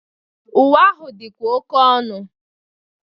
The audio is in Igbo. Uwe ahụ dịkwa oke ọnu.